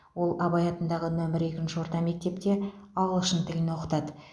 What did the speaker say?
ол абай атындағы нөмір екінші орта мектепте ағылшын тілін оқытады